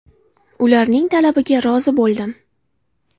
– Ularning talabiga rozi bo‘ldim.